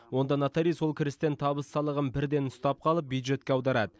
онда нотариус ол кірістен табыс салығын бірден ұстап қалып бюджетке аударады